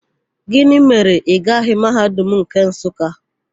Gịnị mere na ị gaghị Mahadum nke Nsụka?